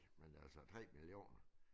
Men altså 3 millioner